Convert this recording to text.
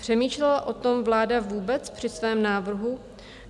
Přemýšlela o tom vláda vůbec při svém návrhu?